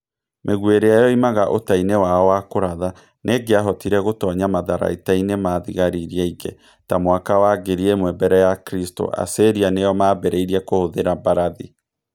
Mĩguĩ ĩrĩa yoimaga ũta-inĩ wao wa kũratha, nĩ ĩngĩahotire gũtonya matharaita-inĩ ma thigari iria ingĩ. Ta mwaka wa 1000 mbere ya Kristo, Assyria nĩo maambĩrĩirie kũhũthĩra mbarathi.